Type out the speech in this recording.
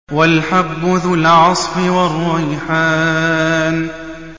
وَالْحَبُّ ذُو الْعَصْفِ وَالرَّيْحَانُ